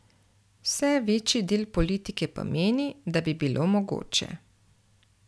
Vse večji del politike pa meni, da bi bilo mogoče.